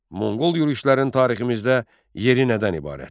Monqol yürüşlərin tariximizdə yeri nədən ibarətdir?